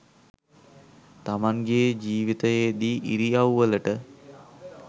තමන්ගෙ ජීවිතයේදී ඉරියව්වලට